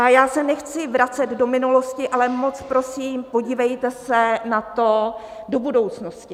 A já se nechci vracet do minulosti, ale moc prosím, podívejte se na to do budoucnosti.